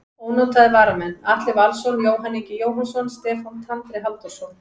Ónotaðir varamenn: Atli Valsson, Jóhann Ingi Jóhannsson, Stefán Tandri Halldórsson.